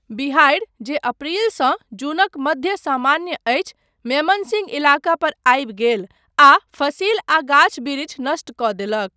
बिहाड़ि, जे अप्रिलसँ जूनक मध्य सामान्य अछि, मेमनसिंह इलाकापर आबि गेल आ फसिल आ गाछ बिरिछ नष्ट कऽ देलक।